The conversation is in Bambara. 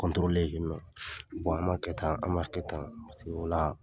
yen nɔ, an m'a kɛ tan, an m'a kɛ tan, o la